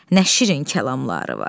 Nə şirin kəlamları var.